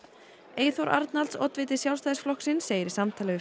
Eyþór Arnalds oddviti Sjálfstæðisflokksins segir í samtali við